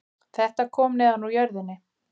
Þetta kom neðan úr jörðinni